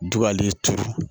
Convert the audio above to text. Jugu ale turu